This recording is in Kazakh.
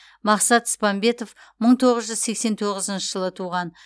мақсат спамбетов мың тоғыз жүз сексен тоғызыншы жылы туған